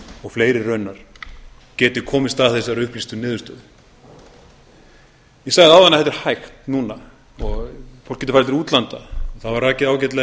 og fleiri raunar geti komist að þessari upplýstu niðurstöðu ég sagði áðan að þetta væri hægt núna og fólk getur farið til útlanda það var rakið ágætlega